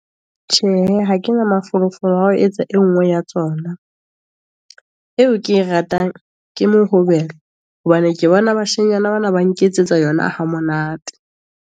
Tjhe hee ha kena mafolofolo ao etsa e nngwe ya tsona, eo ke ratang ke mohobelo, hobane ke bona bashenyana bana ba nketsetsa yona ha monate.